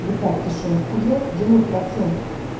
ебать ты что ахуел где мой процент